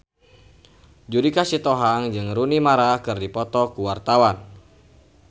Judika Sitohang jeung Rooney Mara keur dipoto ku wartawan